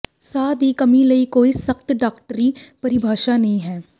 ਸਾਹ ਦੀ ਕਮੀ ਲਈ ਕੋਈ ਸਖਤ ਡਾਕਟਰੀ ਪਰਿਭਾਸ਼ਾ ਨਹੀਂ ਹੈ